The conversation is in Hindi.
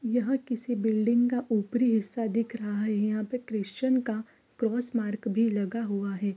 यह किसी बिल्डिंग का ऊपरी हिस्सा दिख रहा है यहाँ पे क्रिस्चन का क्रॉस मार्क भी लगा हुआ है।